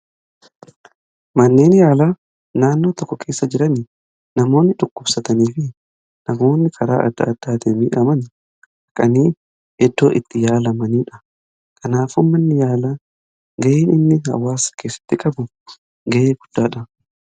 Manneen yaalaa naannoo tokko keessa jiran namoonni namoonni dhukkubsatanii fi namoonni karaa adda addaatiin miidhaman kanneen iddoo itti yaalamanidha. Kanaafuu manni yaalaa gaheen inni hawaasa keessatti qabu gahee guddaadha.